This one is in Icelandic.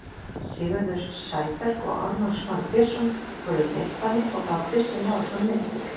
Sigurður Sæberg og Ármann Smári Björnsson voru í leikbanni og þá er Kristinn Lárusson meiddur.